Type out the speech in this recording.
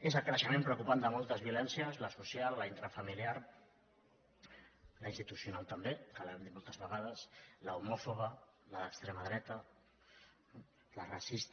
és el creixement preocupant de moltes violències la social la intrafamiliar la institucional també que ho hem dit moltes vegades l’homòfoba la d’extrema dreta la racista